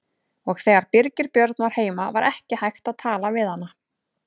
Og þegar Birgir Björn var heima var ekki hægt að tala við hana.